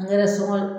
Ngɛrɛ sokɔnɔn